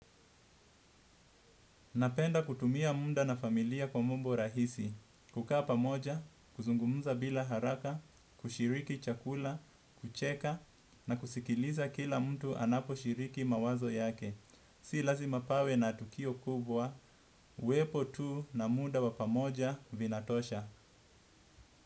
Napenda kutumia muda na familia kwa mambo rahisi kukaa pamoja kuzungumza bila haraka kushiriki chakula kucheka na kusikiliza kila mtu anaposhiriki mawazo yake. Si lazima pawe na tukio kubwa, uwepo tu na muda wa pamoja vinatosha.